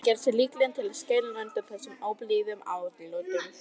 Hann gerði sig líklegan til að skæla undan þessum óblíðu atlotum.